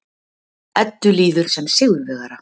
Eddu líður sem sigurvegara.